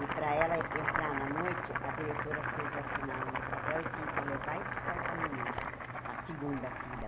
E para ela entrar na noite, a diretora fez eu assinar um papel e tinha que levar e buscar essa menina, a segunda filha.